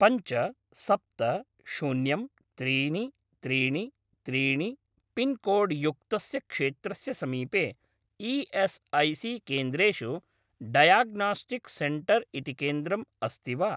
पञ्च सप्त शून्यं त्रीणि त्रीणि त्रीणि पिन्कोड् युक्तस्य क्षेत्रस्य समीपे ई.एस्.ऐ.सी.केन्द्रेषु डयाग्नोस्टिक्स् सेण्टर् इति केन्द्रम् अस्ति वा?